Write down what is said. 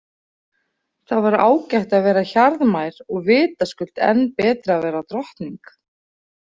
Það var ágætt að vera hjarðmær og vitaskuld enn betra að vera drottning.